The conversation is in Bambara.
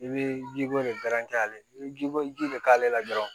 I bɛ ji ko de ale bɛ ji ko ji de k'ale la dɔrɔnw